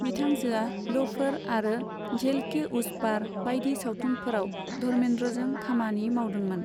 बिथांजोआ 'लोफर आरो झेल के उस पार' बायदि सावथुनफोराव धर्मेंद्रजों खामानि मावदों मोन।